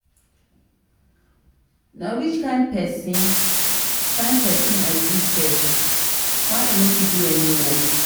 na which kin person kin person i be sef? why i no fit do any work.